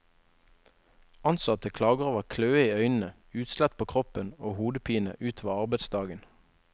Ansatte klager over kløe i øynene, utslett på kroppen og hodepine utover arbeidsdagen.